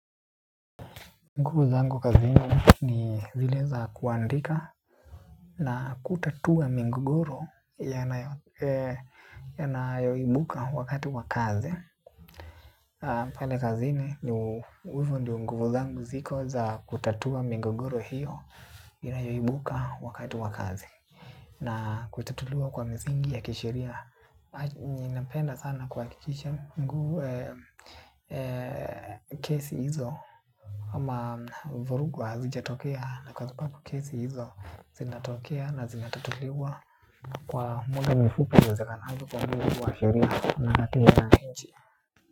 Nguvu zangu kazini zile za kuandika na kutatua migogoro yanayoibuka wakati wa kazi Paoe kazi ni ndio nguvu zangu ziko za kutatua migogoro hiyo inayoibuka wakati wa kazi. Na kutatuliwa kwa misingi ya kisheria. Ninapenda sana kuhakikisha, nguvu, kesi hizo. Ama vurugu hazijatokea na kwa subabu kesi hizo zinatokea na zinatatuliwa. Kwa muda mfupi iwezekanavyo kwa muujibu wa sheria na katiba ya nchi.